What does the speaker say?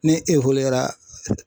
Ne